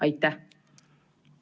Aitäh!